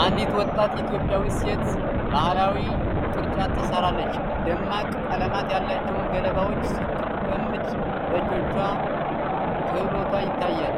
አንዲት ወጣት ኢትዮጵያዊት ሴት ባህላዊ ቅርጫት ትሰራለች። ደማቅ ቀለማት ያላቸውን ገለባዎች ስትገመድል በእጆቿ ክህሎቷ ይታያል።